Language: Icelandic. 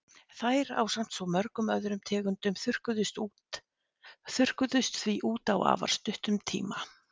Þær, ásamt svo mörgum öðrum tegundum, þurrkuðust því út á afar stuttum tíma.